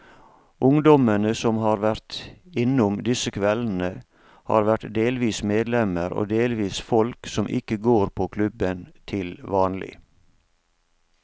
Ungdommene som har vært innom disse kveldene, har vært delvis medlemmer og delvis folk som ikke går på klubben til vanlig.